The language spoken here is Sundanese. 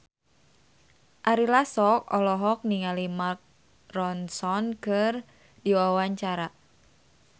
Ari Lasso olohok ningali Mark Ronson keur diwawancara